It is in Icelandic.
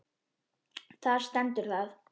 Þar stendur það.